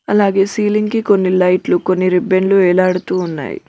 అలాగే సీలింగ్ కి కొన్ని లైట్లు కొన్ని రిబ్బెన్లు వేలాడుతూ ఉన్నాయి.